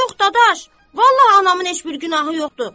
Yox, dadaş, vallah anamın heç bir günahı yoxdur.